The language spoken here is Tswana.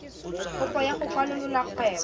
kopo ya go kwalolola kgwebo